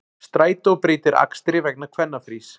Strætó breytir akstri vegna kvennafrís